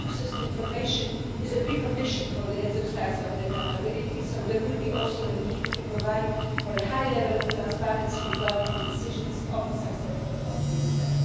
Access to information is a precondition for the exercise of accountability so there will also be a need to provide for a high level of transparency regarding the decisions of the successor of the ESM.